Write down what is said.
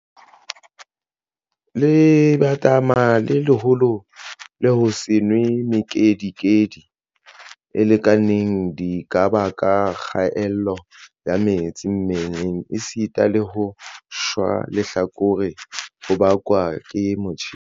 Lebatama le leholo le ho se nwe mekedikedi e lekaneng, di ka baka kgaello ya metsi mmeleng esita le ho shwa lehlakore ho bakwang ke motjheso.